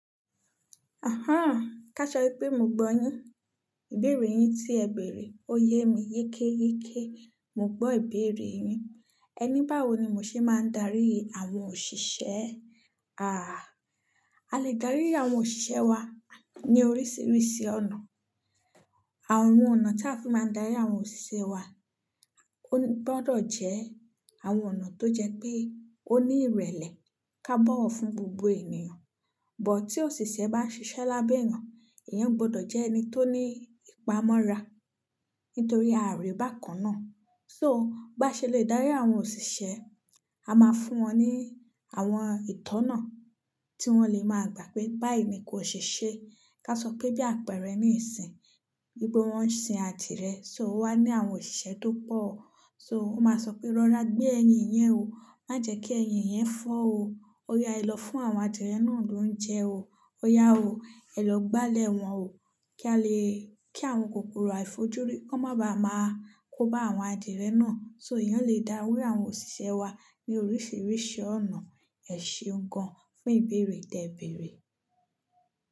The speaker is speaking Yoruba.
Ahán, káṣọ pé mo gbọ́ yín. Ìbéèrè yín tí ẹ bèèrè, ó yé mi yekẹ́yekẹ́, mo gbọ́ ìbéèrè yín. Ẹ ní báwo ni mo ṣe máa ń darí àwọn òṣìṣẹ́? Ààh, a lè dárí àwọn òṣìṣẹ́ wa ní oríṣiríṣi ọ̀nà. Àwọn ọ̀nà tí a fi máa ń darí àwọn òṣìṣẹ́ wa ó gbọdọ̀ jẹ́ àwọn ọ̀nà tó jẹ pé ó ní ìrẹ̀lẹ̀ ká bọ̀wọ̀ fún gbogbo ènìyàn. Bọ tí òṣìṣẹ́ bá ń ṣiṣẹ́ lábẹ́ ẹeyan, ìyẹn ò gbọdọ̀ jẹ́ ẹni tó ní ìpamọ́ra nítorí ári bákan náà. So bá ṣe lè dárí àwọn òṣìṣẹ́, a máa fún wọn ní àwọn ìtọ́nà tí wọ́n lè máa gbà pé báyìí ni kó ṣe ṣe. Ká sọ pé bí àpẹ̀rẹ̀ ní ìsìn, bí pé wọ́n ń sin àdìrẹ, so wá ní àwọn òṣìṣẹ́ tó pọ̀. So wọ́n máa sọ pé rọra gbé ẹyin yẹn o, má jẹ́ kí ẹyin yẹn fọ́ o. Ọ̀yà lọ fún àwọn adìyẹ náà ló ń jẹ o. Ọ̀yà o, ẹ lọ gbálẹ̀ wọ́n o kí a lè-- kí àwọn kòkòrò àìfojúrí kó má ba à máa kó bá àwọn adìyẹ náà. So ìyẹn lè dárí àwọn òṣìṣẹ́ wa ní oríṣiríṣi ọ̀nà. Ẹ ṣe gan fún ìbéèrè tí ẹ bèèrè.